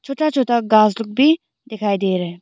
छोटा छोटा घास लोग भी डिखाई दे रहे--